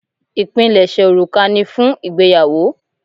Ipinleṣe òrùka ni fún ìgbéyàwó.